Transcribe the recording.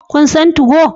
Kun san 2go?